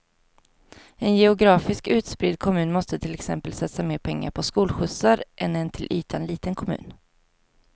En geografiskt utspridd kommun måste till exempel satsa mer pengar på skolskjutsar än en till ytan liten kommun.